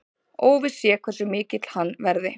Óvíst sé hversu mikill hann verði